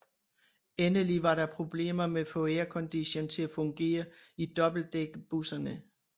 Endelig var der problemer med at få aircondition til at fungere i dobbeltdækkerbusserne